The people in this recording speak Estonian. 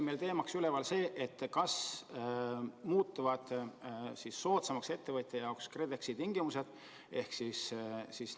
Teise teemana jäi üles see, kas muutuvad ettevõtja jaoks soodsamaks KredExi tingimused.